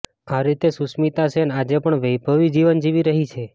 આ રીતે સુષ્મિતા સેન આજે પણ વૈભવી જીવન જીવી રહી છે